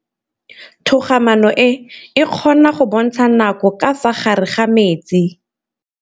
Toga-maanô e, e kgona go bontsha nakô ka fa gare ga metsi.